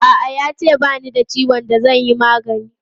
A'a, ya ce ba ni da ciwon da zan yi magani.